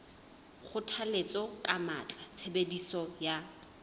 kgothalletsa ka matla tshebediso ya